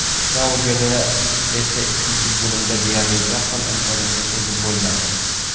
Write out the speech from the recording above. Saudiyada esa ikkinchi bo‘limda deyarli yaqqol imkoniyatning o‘zi bo‘lmadi.